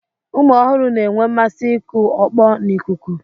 Ụmụ ọhụrụ na-enwe mmasị ịkụ ọkpọ n'ikuku.